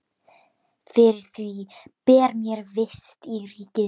Fyrir því ber mér vist í ríki þínu.